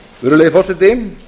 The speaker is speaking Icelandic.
virðulegi forseti